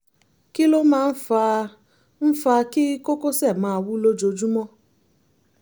kí ló máa ń fa ń fa kí kókósẹ̀ máa wú lójúmọmọ?